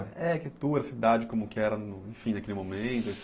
É, arquitetura, cidade, como que era enfim naquele momento.